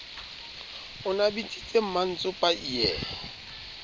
ne a bitsitse mmantsopa ie